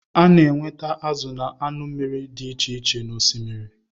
A na-enweta azụ na anụ mmiri dị iche iche n'Osimiri